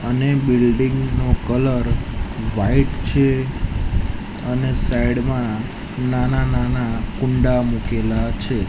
અને બિલ્ડીંગ નો colour white છે અને સાઈડ માં નાના નાના કુંડા મુકેલા છે.